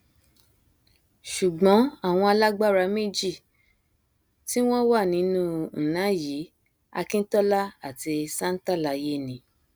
ṣùgbọn àwọn alágbára méjì tí wọn wà nínú nna yìí akintola àti santalaye ni